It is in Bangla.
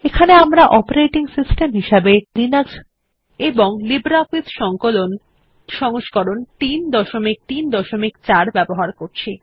এখানে আমরা একটি অপারেটিং সিস্টেম হিসেবে লিনাক্স এবং লিব্রিঅফিস সংকলন সংস্করণ 334 ব্যবহার করছি